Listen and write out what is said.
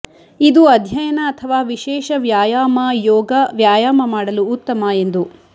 ಇದು ಅಧ್ಯಯನ ಅಥವಾ ವಿಶೇಷ ವ್ಯಾಯಾಮ ಯೋಗ ವ್ಯಾಯಾಮ ಮಾಡಲು ಉತ್ತಮ ಎಂದು